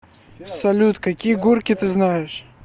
салют какие гурки ты знаешь